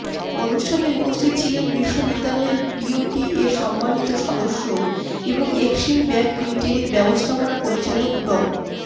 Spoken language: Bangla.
অনুষ্ঠানে উপস্থিত ছিলেন বিশ্ববিদ্যালয়ের বিওটি এর সম্মানিত সদস্য এবং এক্সিম ব্যাংক লিমিটেডের ব্যবস্থাপনা পরিচালক ড